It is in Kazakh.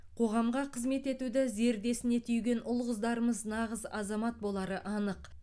қоғамға қызмет етуді зердесіне түйген ұл қыздарымыз нағыз азамат болары анық